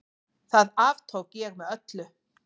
Það aftók ég með öllu.